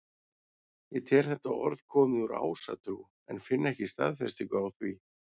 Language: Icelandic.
Ég tel þetta orð komið úr ásatrú en finn ekki staðfestingu á því.